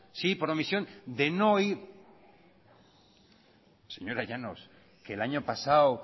sí por omisión de no ir señora llanos señora llanos que el año pasado